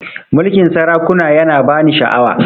Mulkin sarakuna ya na ba ni sha'awa